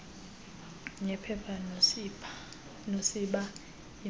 nephepha nosiba iipen